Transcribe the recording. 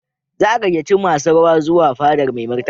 Za a gayyaci masu rawa zuwa fadar Mai Martaba.